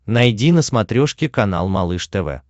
найди на смотрешке канал малыш тв